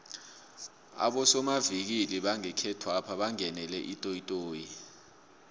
abosomavikili bangekhethwapha bangenele itoyitoyi